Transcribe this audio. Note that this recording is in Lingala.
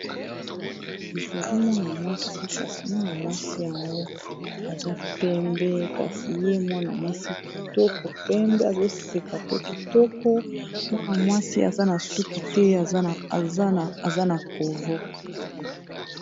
Ezali mwana mwasi, kasi mwana mwasi yango aza pembe kitoko, azoseka pe aza na suki te aza na covo.